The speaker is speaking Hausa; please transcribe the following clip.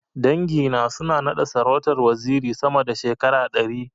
Dangi na suna na da sarautar waziri sama da shekara ɗari.